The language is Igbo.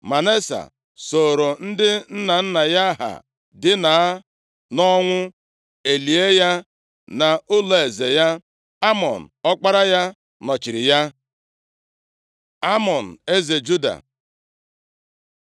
Manase sooro ndị nna nna ya ha dina nʼọnwụ, e lie ya nʼụlọeze ya. Amọn, ọkpara ya, nọchiri ya. Amọn eze Juda